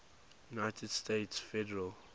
united states federal